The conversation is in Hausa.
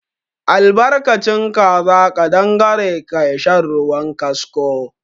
Albarkacin kaza ƙadangare ka sha ruwan kasko.